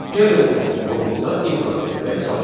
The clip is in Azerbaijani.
Gəlin onu kodumuza import etməyə çalışaq.